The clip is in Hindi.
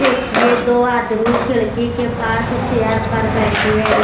देखिए दो आदमी खिड़की के पास चेयर पर बैठे हैं।